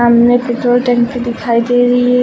सामने पेट्रोल टंकी दिखाई दे रही है।